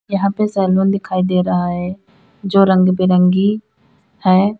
यहां पे सैलून दिखाई दे रहा है जो रंग बिरंगी है।